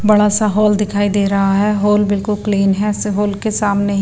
बड़ा सा हॉल दिखाई दे रहा है हॉल बिल्कुल क्लीन है हॉल के सामने--